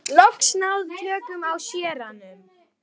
Ég hef loks náð tökum á séranum.